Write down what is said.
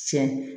Sɛ